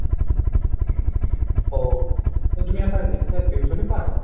ও, তো তুমি আবার রেখে tuition ই পড়াও?